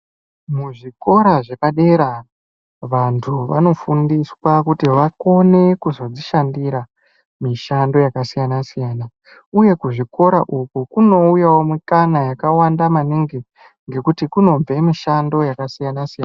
Muzvikora zvepadera vantu vanofundiswa kuti vakone kuzodzishandira mishando yakasiyana siyana uye kuzvikora uku kunouyawo mikana yakawanda maningi ngekuti kunobve mishando yakasiyana siyana.